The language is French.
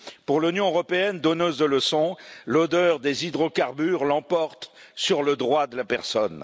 Pour l'Union européenne, donneuse de leçons, l'odeur des hydrocarbures l'emporte sur le droit de la personne.